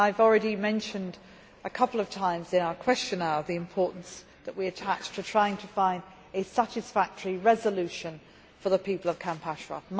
I have already mentioned a couple of times, in our Question Hour, the importance that we attach to trying to find a satisfactory solution for the people of Camp Ashraf.